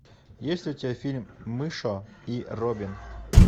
есть ли у тебя фильм мыша и робин